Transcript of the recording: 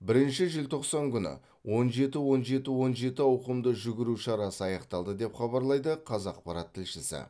бірінші желтоқсан күні он жеті он жеті он жеті ауқымды жүгіру шарасы аяқталды деп хабарлайды қазақпарат тілшісі